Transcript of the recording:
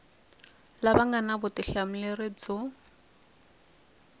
lava nga na vutihlamuleri byo